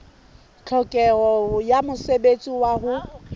tlhokeho ya mosebetsi wa ho